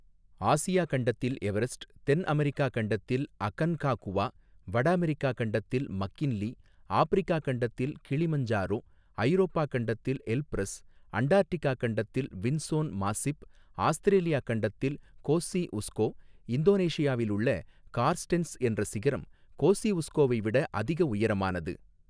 Asia கண்டத்தில் Everest தென் America கண்டத்தில் அகன்காகுவா வட அமெரிக்கா கண்டத்தில் மக்கின்லீ ஆப்பிரிக்கா கண்டத்தில் கிளிமஞ்சரோ ஐரோப்பா கண்டத்தில் எல்ப்ரஸ் அண்டார்ட்டிகா கண்டத்தில் வின்ஸோன் மாஸ்ஸிப் ஆஸ்திரேலியா கண்டத்தில் கோஸ்சி உஸ்கோ இந்தோனேஷியாவிலுள்ள கார்ஸ்டென்ஸ் என்ற சிகரம் கோஸ்சி உஸ்கோவை விட அதிக உயரமானது.